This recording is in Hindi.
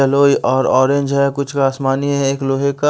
येलो और ऑरेंज हैं कुछ का आसमानी है एक लोहे का--